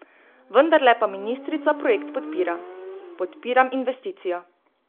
Vendarle pa ministrica projekt podpira: 'Podpiram investicijo.